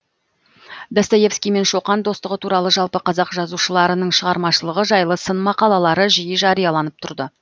достоевский мен шоқан достығы туралы жалпы қазақ жазушыларының шығармашылығы жайлы сын мақалалары жиі жарияланып тұрды